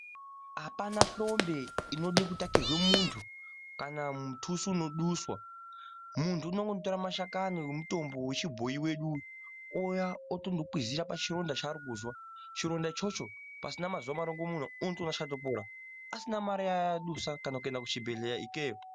Apana hlombe inoda kutakirwe munthu kana mutuso unoduswa. Munthu unongotora mashakani emutombo wechibhoyi wedu ouya otokwizira pachironda chaari kuzwa. Chironda ichocho pasina mazuwa marongomuna unotoona chatopora asina mare yaadusa kana kuenda kuchibhedhleya ikweyo.